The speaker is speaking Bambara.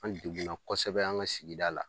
An dekun na kɔsɛbɛ an ka sigida la.